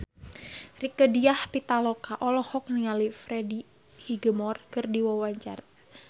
Rieke Diah Pitaloka olohok ningali Freddie Highmore keur diwawancara